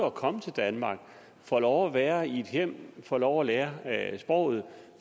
at komme til danmark får lov at være i et hjem får lov at lære sproget